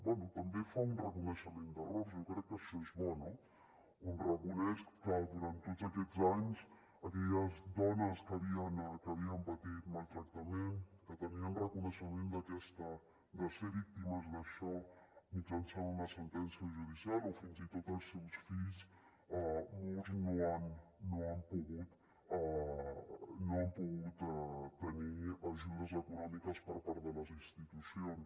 bé també fa un reconeixement d’errors jo crec que això és bo no on reconeix que durant tots aquests anys aquelles dones que havien patit maltractament que tenien reconeixement de ser víctimes d’això mitjançant una sentència judicial o fins i tot els seus fills molts no han pogut tenir ajudes econòmiques per part de les institucions